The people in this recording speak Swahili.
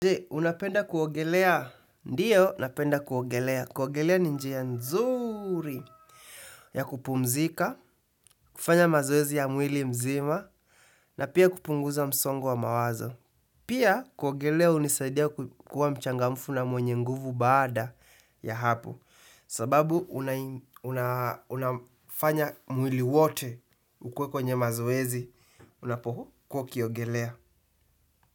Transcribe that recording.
Je, unapenda kuogelea. Ndio, napenda kuogelea. Kuogelea ni njia nzuri ya kupumzika, kufanya mazoezi ya mwili mzima, na pia kupunguza msongo wa mawazo. Pia, kuogelea hunisaidia kuwa mchangamfu na mwenye nguvu baada ya hapo. Sababu, unafanya mwili wote ukuwe kwenye mazoezi. Unapokuwa ukiogelea.